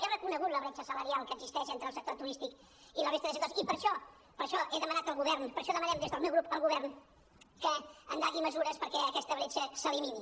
he reconegut la bretxa salarial que existeix entre el sector turístic i la resta de sectors i per això he demanat al govern per això demanem des del meu grup al govern que endegui mesures perquè aquesta bretxa s’elimini